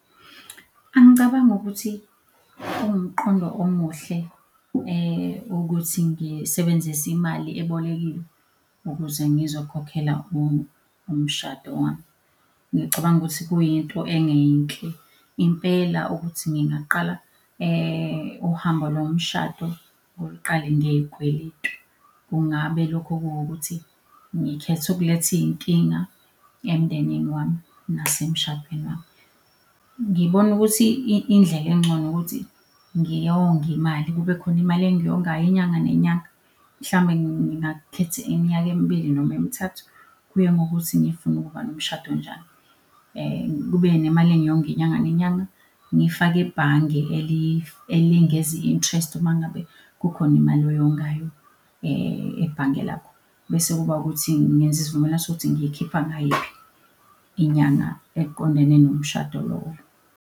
Angicabangi ukuthi kuwumqondo omuhle ukuthi ngisebenzise imali ebolekiwe ukuze ngizokhokhela umshado wami. Ngicabanga ukuthi kuyinto engeyinhle impela ukuthi ngingaqala uhambo lomshado uliqale ngey'kweletu. Kungabe lokho kuwukuthi ngikhetha ukuletha iy'nkinga emndenini wami nasemshadweni wami. Ngibona ukuthi indlela engcono ukuthi ngiyonge imali. Kube khona imali engiyongayo inyanga nenyanga, mhlawumbe ngingakhetha iminyaka emibili noma emithathu. Kuye ngokuthi ngifuna ukuba nomshado onjani. Kube nemali engiyonga inyanga nenyanga ngiyifake ebhange elengeza i-interest uma ngabe kukhona imali oyongayo ebhange lakho. Bese kuba ukuthi ngenza isivumelwano sokuthi ngiyikhipha ngayiphi inyanga eqondene nomshado lowo.